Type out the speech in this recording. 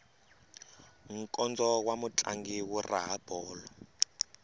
nkondzo wa mutlangi wu raha bolo